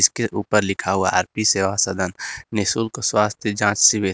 के ऊपर लिखा हुआ आर_पी सेवा सदन निशुल्क स्वास्थ्य जाँच शिविर।